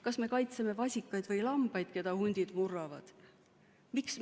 Kas me kaitseme vasikaid või lambaid, keda hundid murravad?